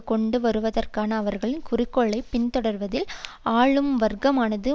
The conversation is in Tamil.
கொண்டு வருவதற்கான அவர்களின் குறிக்கோளை பின்தொடர்வதில் ஆளும் வர்க்கமானது